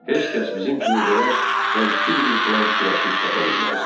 Heç kəs bizim kimi belə fənkir bir plan fikirləşib tapa bilməzdi."